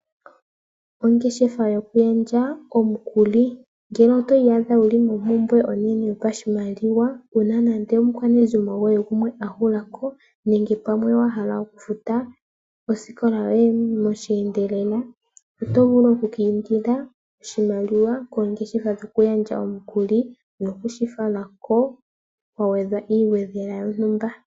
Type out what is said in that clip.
Ongeshefa yoku gandja omukuli. Ngele to iyadha wuli mompumbwe onene yopashimaliwa una nande omukwanezimo goye gumwe ahulako nenge pamwe wahala okufuta oosikola yoye osheendelela otovulu oku ka indila oshimaliwa koongeshefa dhoku gandja omukuli nokushi falako kwagwedhwa iishoshela yontumba.